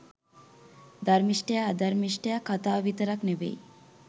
ධර්මිෂ්ඨයා අධර්මිෂ්ඨයා කතාව විතරක් නෙමෙයි